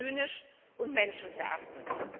Das ist zynisch und menschenverachtend!